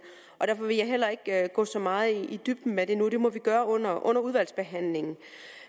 derfor vil jeg heller ikke gå så meget i dybden med det nu det må vi gøre under udvalgsbehandlingen